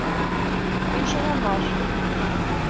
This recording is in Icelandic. Eins og hann var.